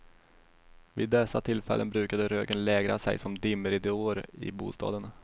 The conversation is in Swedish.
Vid dessa tillfällen brukade röken lägra sig som dimridåer i bostaden.